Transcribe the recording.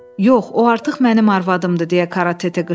Yox, o artıq mənim arvadımdır, deyə Karatete qışqırdı.